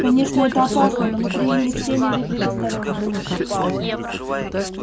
конечно это опасно но мы приняли все меры предосторожности